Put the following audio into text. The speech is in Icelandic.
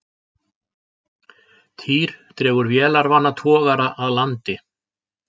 Týr dregur vélarvana togara að landi